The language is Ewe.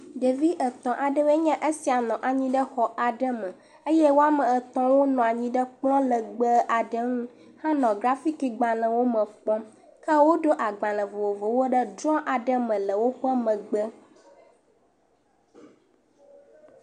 Ɖevi etɔ̃ aɖewoe nye esia nɔ anyi ɖe exɔ aɖe me eye woame etɔ̃ la nɔ anyi ɖe kplɔ legbe aɖe ŋu henɔ grafikigbalẽwo me kpɔm. ke woɖo agbalẽ vovovowo ɖe drɔ aɖe me le wo megbe.